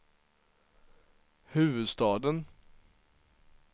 huvudstaden